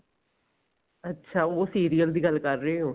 ਅੱਛਾ ਉਹ serial ਦੀ ਗੱਲ ਕਰ ਰਹੇ ਓ